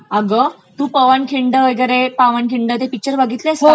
अ्ग, तू पवनखिंड वगैरे ते पावनखिंड ते पिक्चर बघितलेस का ?